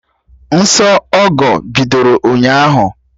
Nsọ Ọgọ bidoro ụnyaahụ